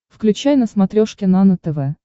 включай на смотрешке нано тв